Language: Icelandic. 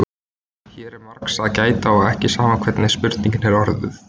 Hér er margs að gæta og ekki sama hvernig spurningin er orðuð.